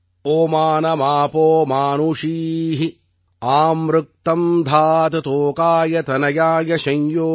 Oman மாபோ மானுஷீ அம்ருதக்தம் தாத் தோகாய தனயாய ஷம் யோ